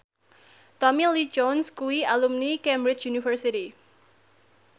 Tommy Lee Jones kuwi alumni Cambridge University